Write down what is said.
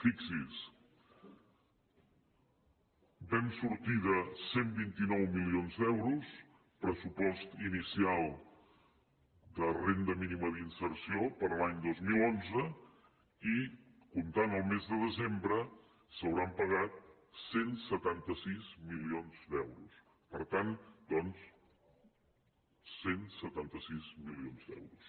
fixi’s vam sortir de cent i vint nou milions d’euros pressupost inicial de renda mínima d’inserció per a l’any dos mil onze i comptant el mes de desembre s’hauran pagat cent i setanta sis milions d’euros cent i setanta sis milions d’euros